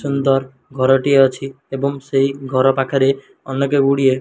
ସୁନ୍ଦର ଘରଟିଏ ଅଛି ଏବଂ ସେହି ଘର ପାଖରେ ଅନେକ ଗୁଡ଼ିଏ।